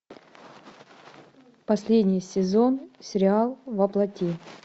последний сезон сериал во плоти